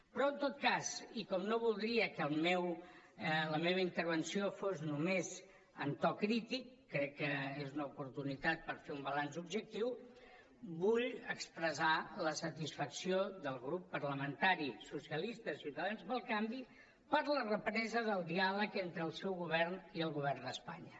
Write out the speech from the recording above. però en tot cas i com no voldria que la meva intervenció fos només en to crític crec que és una oportunitat per fer un balanç objectiu vull expressar la satisfacció del grup parlamentari socialistes i units per avançar per la represa del diàleg entre el seu govern i el govern d’espanya